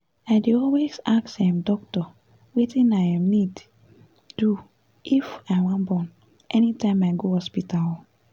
i dey always ask um doctor wetin i um need do if wan born anytime i go hospital um